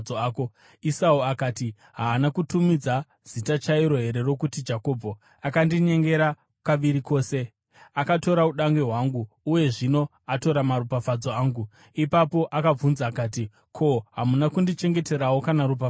Esau akati, “Haana kutumidzwa zita chairo here rokuti Jakobho? Akandinyengera kaviri kose: Akatora udangwe hwangu, uye zvino atora maropafadzo angu!” Ipapo akabvunza akati, “Ko, hamuna kundichengeterawo kana ropafadzo here?”